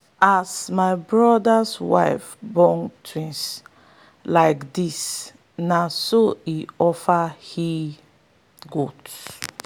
as my brother's wife born twins like this na so he offer he-goat.